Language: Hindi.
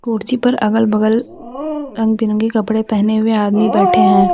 कुर्सी पर अगल बगल रंग बिरंगी कपड़े पहने हुए आदमी बैठे हैं।